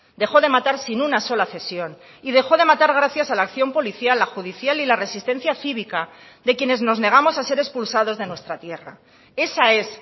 dejó de matar sin una sola cesión y dejó de matar gracias a la acción policial la judicial y la resistencia cívica de quienes nos negamos a ser expulsados de nuestra tierra esa es